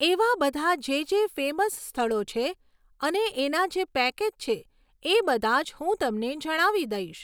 એવા બધા જે જે ફેમસ સ્થળો છે અને એના જે પેકેજ છે એ બધા જ હું તમને જણાવી દઈશ